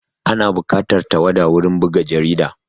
Ana buƙatar tawada wurin buga jarida